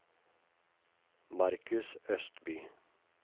Markus Østby